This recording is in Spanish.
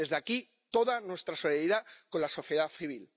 Desde aquí, toda nuestra solidaridad con la sociedad civil.